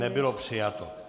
Nebylo přijato.